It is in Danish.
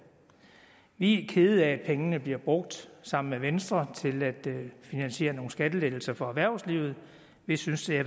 vi er kede af at pengene bliver brugt sammen med venstre til at finansiere nogle skattelettelser for erhvervslivet vi synes det